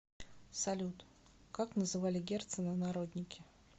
салют как называли герцена народники